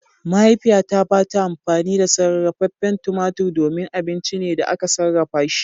Mahaifiyata ba ta amfani da sarrafen tumatur domin abinci ne da aka sarrafa shi.